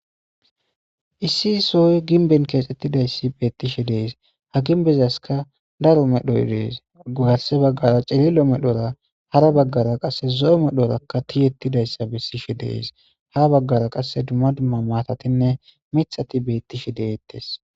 issi soy ginben keexxettidayssi beettishe dees ha ginbezaska daro medhoy dees gugarse baggara cilillo medhora hara baggara qasse zo7o medhorakka tiyettidayssa bessishe dees ha baggara qasse dumma dumma maatatinne mixati beettishe deettes